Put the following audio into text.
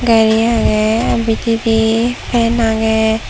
gari agey bidirey fan agey.